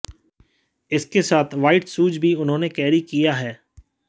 इसके साथ white shoes भी उन्होंने कैरी किया है